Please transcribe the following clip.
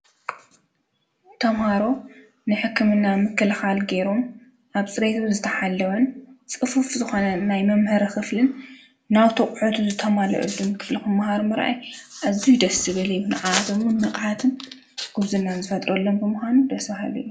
ተምሃሮ ንሕክምና ምክልካል ገይሮም ኣብ ፅሬቱ ዝተሓለወን ፅፉፍ ዝኾነን ናይ መምሃሪ ክፍልን ናቱ ኣቑሑት ዝተማለአሉን ክፍሊ ክመሃሩ ምርኣይ ኣዝዩ ደስ ዝብል እዩ፡፡ ንዓዓኣቶም እውን ንቕሓትን ጉብዝናን ዝፈጥረሎም ምዃኑ ደስ በሃሊ እዩ፡፡